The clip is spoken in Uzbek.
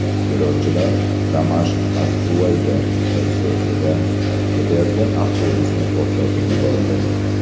Terrorchilar Damashq–as-Suvayda shossesida ketayotgan avtobusni portlatib yubordi.